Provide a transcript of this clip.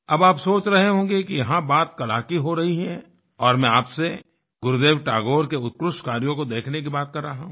अब आप सोच रहे होंगे कि यहाँ बात कला की हो रही है और मैं आपसे गुरुदेव टैगोर के उत्कृष्ट कार्यों को देखने की बात कर रहा हूँ